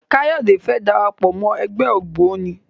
Kayode fè dára pọ Mọ ègbé ògbóni.